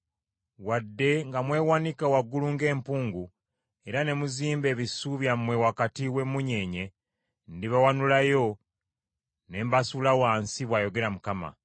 Wadde nga mwewanika waggulu ng’empungu era ne muzimba ebisu byammwe wakati w’emmunyeenye, ndibawanulayo ne mbasuula wansi,” bw’ayogera Mukama .